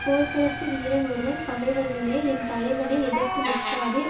போர்களத்து வீரன் ஒருவன் பகைவர்களே என் தலைவனை எதிர்த்து நிற்காதீர்